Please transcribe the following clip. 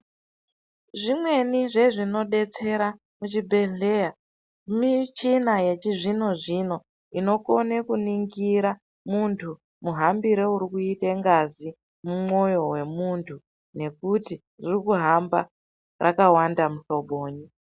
Zvimweni zvezvinodetsera muchibhedhleya, mishina yechizvino zvino inokone kuningira muntu muhambiro uri kuite ngazi mumwoyo wemuntu nekuti riri kuhamba rakawanda muhloboni.